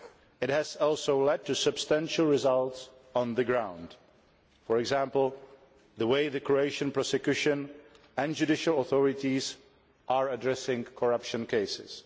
It has also led to substantial results on the ground for example, the way the Croatian prosecution and judicial authorities are addressing corruption cases.